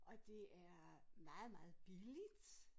Og det er meget meget billigt